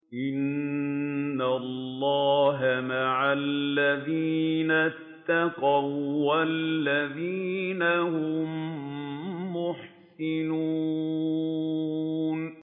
إِنَّ اللَّهَ مَعَ الَّذِينَ اتَّقَوا وَّالَّذِينَ هُم مُّحْسِنُونَ